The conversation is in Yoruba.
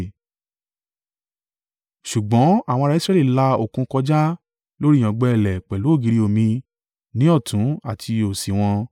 Ṣùgbọ́n àwọn ará Israẹli la òkun kọjá lórí ìyàngbẹ ilẹ̀ pẹ̀lú ògiri omi ni ọ̀tún àti òsì wọn.